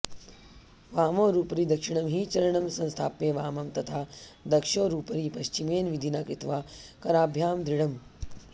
वामोरूपरि दक्षिणं हि चरणं संस्थाप्य वामं तथा दक्षोरूपरि पश्चिमेन विधिना कृत्वा कराभ्यां दृढम्